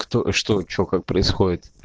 кто что что как происходит